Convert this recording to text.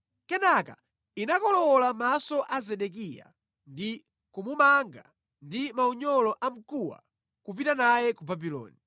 Kenaka inakolowola maso a Zedekiya ndi kumumanga ndi maunyolo a mkuwa nʼkupita naye ku Babuloni.